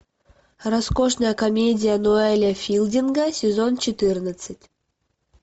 роскошная комедия ноэля филдинга сезон четырнадцать